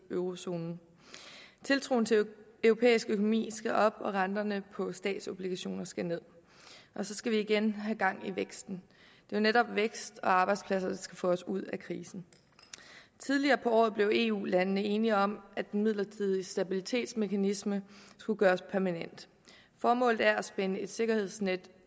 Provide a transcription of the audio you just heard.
eurozonen tiltroen til den europæiske økonomi skal op og renterne på statsobligationer skal ned og så skal vi igen have gang i væksten det er netop vækst og arbejdspladser der skal få os ud af krisen tidligere på året blev eu landene enige om at den midlertidige stabilitetsmekanisme skulle gøres permanent formålet er at spænde et sikkerhedsnet